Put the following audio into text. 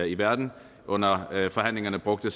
i verden under forhandlingerne brugte